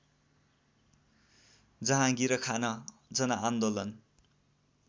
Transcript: जहाँगिर खान जनआन्दोलन